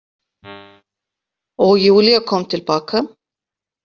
Og Júlía kom til baka.